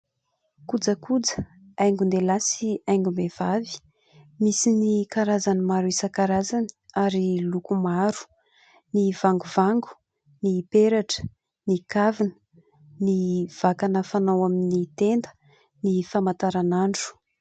Kojakoja haingon-dehilahy sy haingom-behivavy, misy amin'ny karazany maro isan-karazany ary loko maro, : ny vangovango, ny peratra, ny kavina, ny vakana fanao amin'ny tenda, ny famantaran'andro.